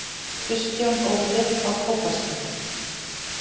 Kristján Óli: Á Kópaskeri